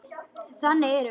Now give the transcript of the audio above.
Þannig erum við.